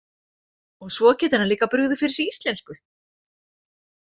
Og svo getur hann líka brugðið fyrir sig íslensku!